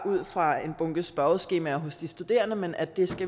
ud fra en bunke spørgeskemaer hos de studerende men at